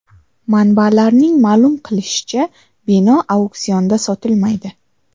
Manbalarning ma’lum qilishicha, bino auksionda sotilmaydi.